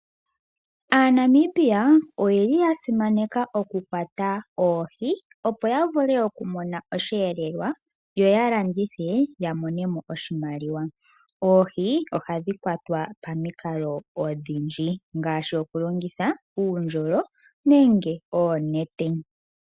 AaNamibia oye li ya simaneka okukwata oohi opo ya mone osheelelwa yo ya landithe ya monemo iimaliwa. Oohi ohadhi kwatwa pamikalo odhindji ngaashi okulongitha uundjolo nenge oonete.